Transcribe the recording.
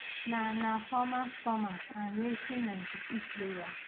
na na former stormers and racing ninety-two player